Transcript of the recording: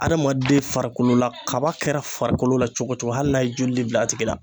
Adamaden farikolo la kaba kɛra farikolo la cogo cogo hali n'a ye joli le bila a tigi la